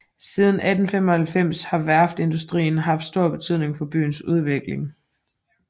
Siden 1895 har værftsindustrien haft stor betydning for byens udvikling